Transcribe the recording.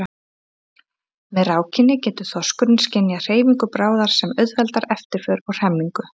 með rákinni getur þorskurinn skynjað hreyfingu bráðar sem auðveldar eftirför og hremmingu